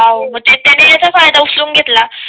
मग ते त्याने याचा फायदा उचलून घेतला